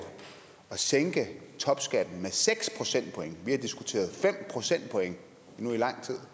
at sænke topskatten med seks procentpoint vi har diskuteret fem procentpoint i lang tid